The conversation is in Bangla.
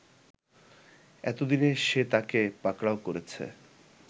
এতদিনে সে তাকে পাকড়াও করেছে